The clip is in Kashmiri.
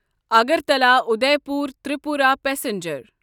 اگرتلا اُدیپور تریپورا پسنجر